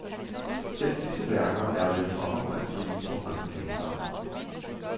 Selv disse værker er vel for omfangsrige for mange læsere.